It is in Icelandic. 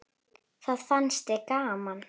Það fannst þér gaman.